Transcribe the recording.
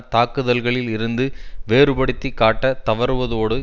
தாக்குதல்களில் இருந்து வேறுபடுத்தி காட்ட தவறுவதோடு